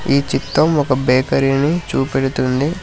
ఈ చితం ఒక బేకరీ ని చూపెడుతుంది.